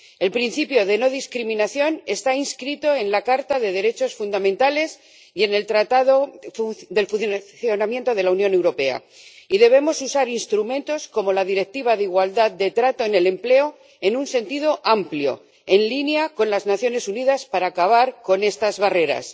El principio de no discriminación está inscrito en la Carta de los Derechos Fundamentales y en el Tratado de Funcionamiento de la Unión Europea y debemos usar instrumentos como la Directiva de igualdad de trato en el empleo en un sentido amplio, en línea con las Naciones Unidas, para acabar con estas barreras.